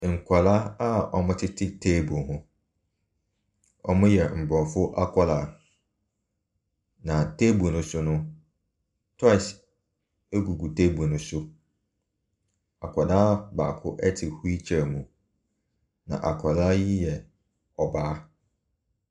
Nkwadaa a wɔtete table ho, wɔyɛ Aborɔfo nkwadaa, na table no so no, toys gugu table no so. Akwadaa baako te wheel chair mu, na akwadaa yi yɛ ɔbaa.